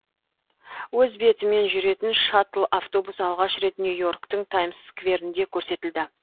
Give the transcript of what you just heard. өз бетімен жүретін шаттл автобус алғаш рет нью и орктің таймс скверінде көрсетілді